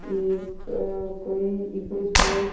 ये आ कोंई इको सपोर्ट --